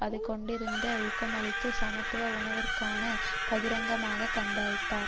அது கொண்டிருந்த ஊக்கமளித்த சமத்துவ உணர்வுகளுக்காக பகிரங்கமாக கண்டித்தார்